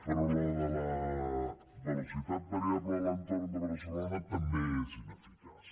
però la de la velocitat variable a l’entorn de barcelona també és ineficaç